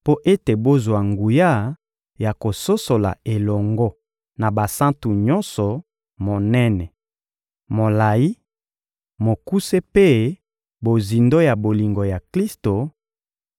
mpo ete bozwa nguya ya kososola elongo na basantu nyonso monene, molayi, mokuse mpe bozindo ya bolingo ya Klisto,